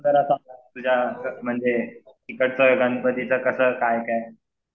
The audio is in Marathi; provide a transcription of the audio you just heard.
तर आता तुझ्या म्हणजे इकडचा गणपतीचा कसं काय काय?